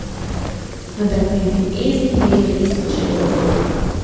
Vendar pa je bil Esmin del res očarljiv.